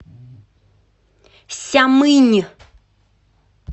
сямынь